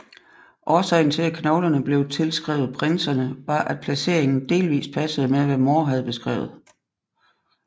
Årsagen til at knoglerne blev tilskrevet prinserne var at placeringen delvist passede med hvad More havde beskrevet